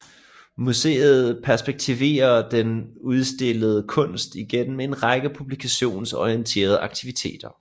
Museet perspektiverer den udstillede kunst igennem en række publikumsorienterede aktiviteter